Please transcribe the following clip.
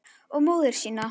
Og móður sína.